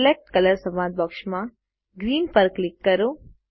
select colour સંવાદ બૉક્સમાં green પર ક્લિક કરો